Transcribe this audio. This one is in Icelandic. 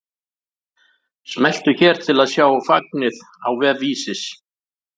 Smelltu hér til að sjá fagnið á vef Vísis